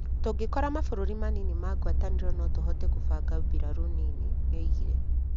Tũngĩkora mabũrũri manini ma ngwatanĩro no tũhote kũbanga mbirarū nini,' nĩoigire.